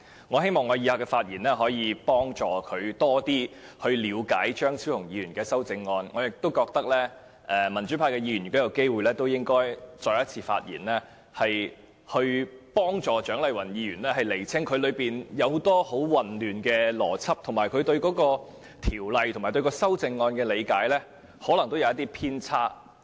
我希望我以下的發言可以協助她更了解張超雄議員的修正案，而我亦認為民主派議員如有機會應再次發言，以協助蔣麗芸議員釐清很多混亂的邏輯，因為她對《2017年僱傭條例草案》及修正案的理解可能有些偏差。